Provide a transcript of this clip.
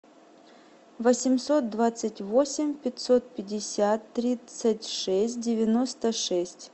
восемьсот двадцать восемь пятьсот пятьдесят тридцать шесть девяносто шесть